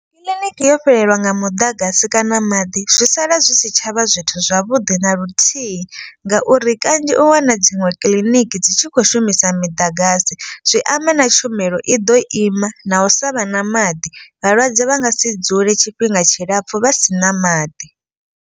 Kiḽiniki yo fhelelwa nga muḓagasi kana maḓi zwi sala zwi si tshavha zwithu zwavhuḓi na luthihi. Ngauri kanzhi u wana dziṅwe kiḽiniki dzi tshi khou shumisa miḓagasi. Zwi amba na tshumelo i ḓo ima na u sa vha na maḓi vhalwadze vha nga si dzule tshifhinga tshilapfhu vha si na maḓi.